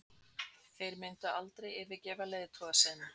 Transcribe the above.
Þeir myndu aldrei yfirgefa leiðtoga sinn